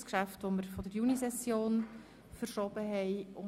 Es handelt sich um ein aus der Junisession verschobenes Geschäft.